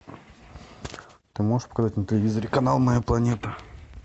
ты можешь показать на телевизоре канал моя планета